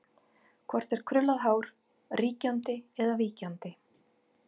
Hvort er krullað hár ríkjandi eða víkjandi?